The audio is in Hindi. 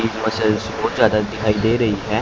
एक मसल्स बोहोत ज्यादा दिखाई दे रही है।